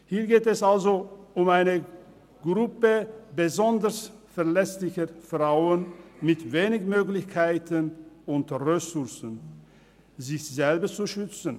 Hier geht es also um eine Gruppe besonders verletzlicher Frauen, denen wenige Möglichkeiten und Ressourcen zur Verfügung stehen, um sich selber zu schützen.